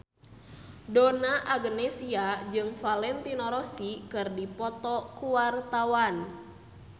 Donna Agnesia jeung Valentino Rossi keur dipoto ku wartawan